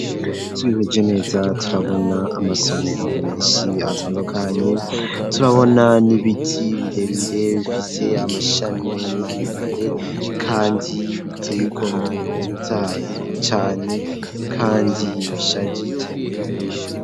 Turevye neza turabona amasomero menshi atandukanye turabona n'ibiti birebire bifite amashami maremare kandi biteye igomwe bitotaye cane kandi bishajije.